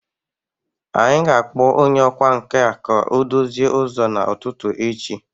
Anyị ga-akpọ onye ọkwá nkà ka ọ dozie ụzọ n'ụtụtụ echi